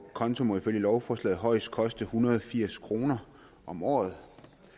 konto må ifølge lovforslaget højst koste en hundrede og firs kroner om året